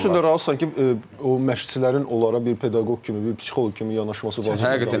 Onun üçün də razısan ki, o məşqçilərin onlara bir pedaqoq kimi, bir psixoloq kimi yanaşması vacibdir.